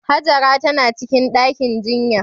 Hajara tana cikin ɗakin jinya.